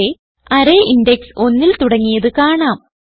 ഇവിടെ array index ഒന്നിൽ തുടങ്ങിയത് കാണാം